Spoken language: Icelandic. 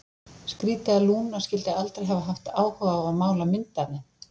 Skrítið að Lúna skyldi aldrei hafa haft áhuga á að mála mynd af þeim.